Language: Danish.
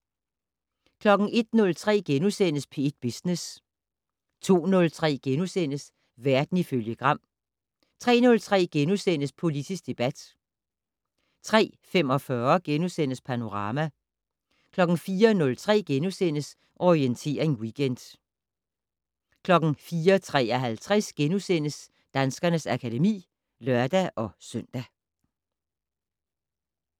01:03: P1 Business * 02:03: Verden ifølge Gram * 03:03: Politisk debat * 03:45: Panorama * 04:03: Orientering Weekend * 04:53: Danskernes akademi *(lør-søn)